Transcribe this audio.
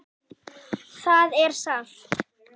Það er sárt.